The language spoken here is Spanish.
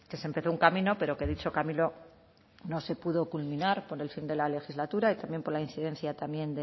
se empezó un camino pero que dicho camino no se pudo culminar por el fin de la legislatura y también por la incidencia también